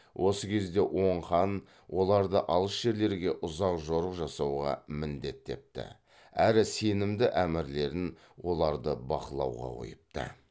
осы кезде оң хан оларды алыс жерлерге ұзақ жорық жасауға міндеттепті әрі сенімді әмірлерін оларды бақылауға қойыпты